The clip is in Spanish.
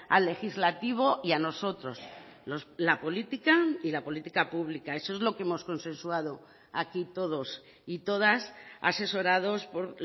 al legislativo y a nosotros la política y la política pública eso es lo que hemos consensuado aquí todos y todas asesorados por